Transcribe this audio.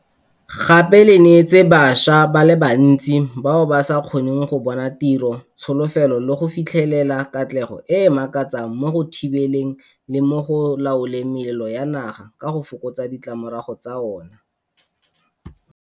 Gape le neetse bašwa ba le bantsi bao ba sa kgoneng go bona tiro tsholofelo le go fitlhelela katlego e e makatsang mo go thibeleng le mo go laoleng melelo ya naga, ka go fokotsa ditlamorago tsa ona.